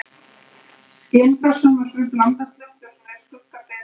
Skin frá sjónvarpi blandast loftljósinu, skugga ber við gluggann.